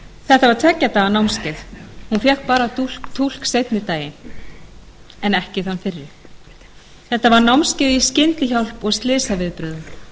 þetta var tveggja daga námskeið hún fékk bara túlk seinni daginn en ekki þann fyrri þetta var námskeið í skyndihjálp og slysaviðbrögðum hún fær ekki launahækkun